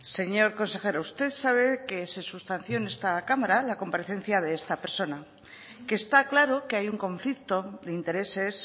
señor consejero usted sabe que se sustanció en esta cámara la comparecencia de esta persona que está claro que hay un conflicto de intereses